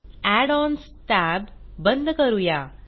add ons tab बंद करूया